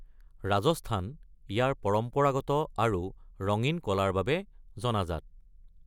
ৰাজস্থান ইয়াৰ পৰম্পৰাগত আৰু ৰঙীন কলাৰ বাবে জনাজাত।